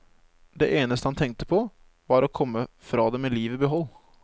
Det eneste han tenkte på, var å komme fra det med livet i behold.